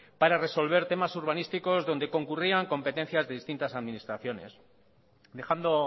para resolver temas urbanísticos donde concurrían competencias de distintas administraciones dejando